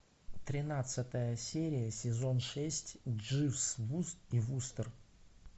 тринадцатая серия сезон шесть дживс и вустер